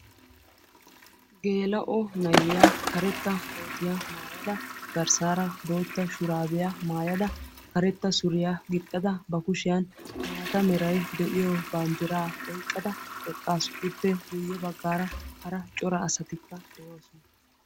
geela"o na"iya karetta kootiya mayadda garssara bootta shurabiya maayadda karetta suriya gixxada ba kushiyanni maatta meray de"iyo bandira oyiqada eqqasu iippe guyessara hara corra assatikka doossona.